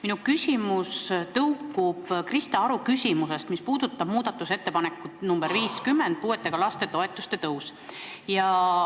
Minu küsimus tõukub Krista Aru küsimusest, mis puudutas muudatusettepanekut nr 50 ehk puuetega laste toetuse kasvu.